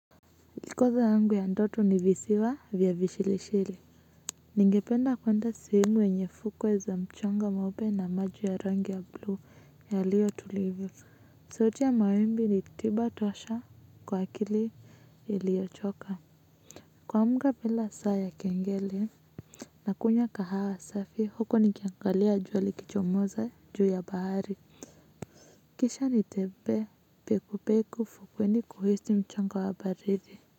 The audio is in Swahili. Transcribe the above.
Likizo yangu ya ndoto ni visiwa vya vishilishili ningependa kwenda sehemu yenye fukwe za mchanga mweupe na maji ya rangi ya blue yaliyo tuliivu sauti ya mawimbi ni tiba tosha kwa akili iliyo choka kuamka bila saa ya kengele na kunya kahawa safi huku nikiangalia jua likichomoza juu ya bahari kisha nitembee peku peku fukweni kuhisi mchanga wa baridi.